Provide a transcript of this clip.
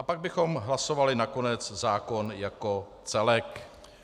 A pak bychom hlasovali nakonec zákon jako celek.